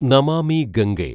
Namami Gange